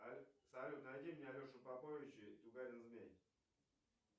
салют найди мне алешу поповича и тугарин змей